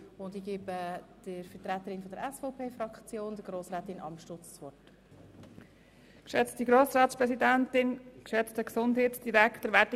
Ich erteile der Vertreterin der SVP-Fraktion Grossrätin Amstutz das Wort.